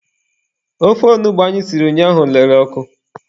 Ofe onugbu anyị siri ụnyaahụ lere ọkụ.